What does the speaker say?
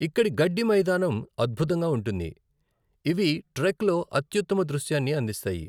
ఇక్కడి గడ్డి మైదానం అద్భుతంగా ఉంటుంది, ఇవి ట్రెక్లో అత్యుత్తమ దృశ్యాన్ని అందిస్తాయి.